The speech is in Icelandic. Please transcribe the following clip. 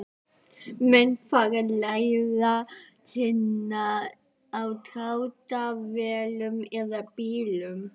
Menn fara leiðar sinnar á dráttarvélum eða bílum.